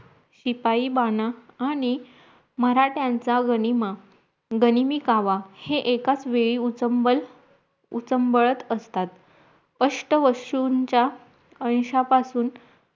शिपाईबाणा आणी मराठ्यांचा गनिमा गनिमीकावा हे एकच वेळी उचंबळ उचंबळत असततात स्पष्ट वस्तूंच्या अंशा पासून